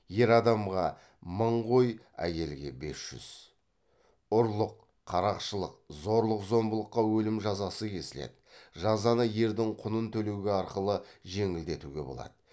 ұрлық қарақшылық зорлық зомбылыққа өлім жазасы кесіледі жазаны ердің құнын төлеу арқылы жеңілдетуге болады